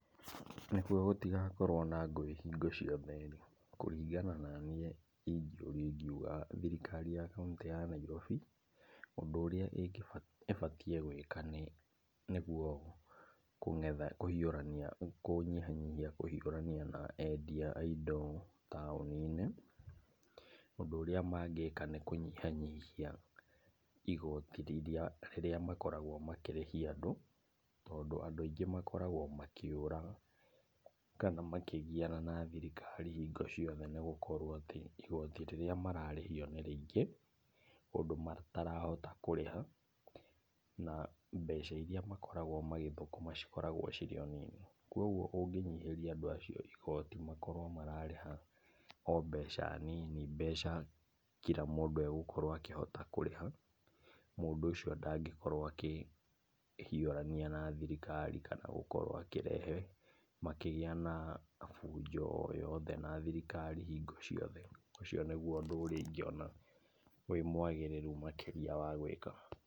Nĩguo gũtigakorwo na ngũĩ hingo ciothe-rĩ, kũringana naniĩ ingĩũrio ingiuga thirikari ya kauntĩ ya Nairobi, ũndũ ũrĩa ingĩba, ĩbatiĩ gwĩka nĩguo kũng'etha kũhiũrania, kũnyihanyihia kũhiũrania na endia a indo taũni-inĩ. Ũndũ ũrĩa mangĩka nĩkũnyihanyihia igoti rĩrĩa makoragwo makĩrĩhia andũ. Tondũ andũ aingĩ makoragwo makĩũra kana makĩgiana na thirikari hingo ciothe nĩgũkorwo atĩ igoti rĩrĩa mararĩhio nĩ rĩingĩ, ũndũ matarahota kũrĩha, na mbeca iria makoragwo magĩthũkũma cikoragwo cirĩ o nini. Kwoguo ũngĩnyihĩrĩa andũ acio igoti, makorwo mararĩha o mbeca nini, mbeca kira mũndũ agũkorwo akĩhota kũrĩha. Mũndũ ũcio ndangĩkorwo akĩhiũrania na thirikari kana gũkorwo akĩrehe, makĩgia na bunjo o yothe na thirikari hingo ciothe. Ũcio nĩgũo ũndũ ũrĩa ingĩona ũrĩ mwagĩrĩrũ makĩria wa gwĩka.